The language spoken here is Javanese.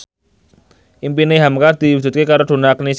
impine hamka diwujudke karo Donna Agnesia